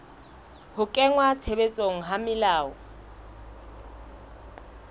ho kenngwa tshebetsong ha melao